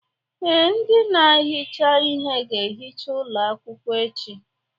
Ee, ndị na-ehicha ihe ga-ehicha ụlọ akwụkwọ echi.